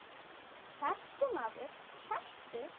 Sestu, maður, sestu.